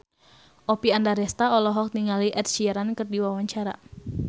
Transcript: Oppie Andaresta olohok ningali Ed Sheeran keur diwawancara